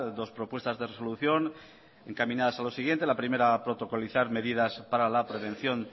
dos propuestas de resolución encaminadas a lo siguiente la primera protocolizar medidas para la prevención